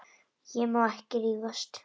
Ég má ekki rífast.